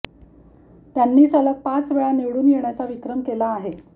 त्यांनी सलग पाच वेळा निवडून येण्याचा विक्रम केला आहे